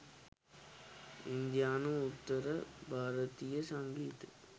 ඉන්දියානු උත්තර භාරතීය සංගීතය